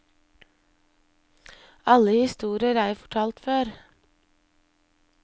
Alle historier er jo fortalt før.